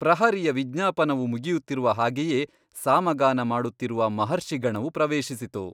ಪ್ರಹರಿಯ ವಿಜ್ಞಾಪನವು ಮುಗಿಯುತ್ತಿರುವ ಹಾಗೆಯೇ ಸಾಮಗಾನಮಾಡುತ್ತಿರುವ ಮಹರ್ಷಿ ಗಣವು ಪ್ರವೇಶಿಸಿತು.